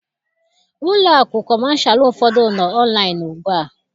Ụlọakụ kọmashalụ ụfọdụ nọ ọnlaịn ugbua